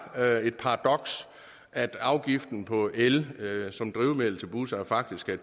er et paradoks at afgiften på el som drivmiddel til busser faktisk er